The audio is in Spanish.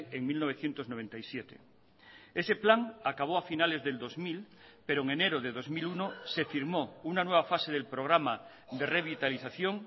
en mil novecientos noventa y siete ese plan acabó a finales del dos mil pero en enero de dos mil uno se firmó una nueva fase del programa de revitalización